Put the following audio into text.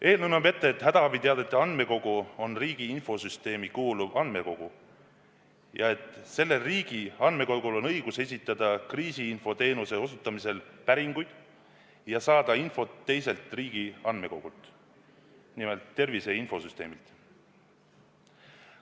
Eelnõu näeb ette, et hädaabiteadete andmekogu on riigi infosüsteemi kuuluv andmekogu ja et sellel riigi andmekogul on õigus esitada kriisiinfoteenuse osutamisel päringuid ja saada infot teiselt riigi andmekogult, nimelt tervise infosüsteemilt.